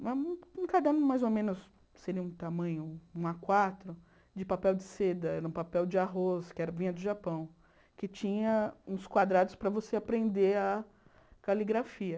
um caderno mais ou menos, seria um tamanho, um á quatro, de papel de seda, era um papel de arroz, que vinha do Japão, que tinha uns quadrados para você aprender a caligrafia.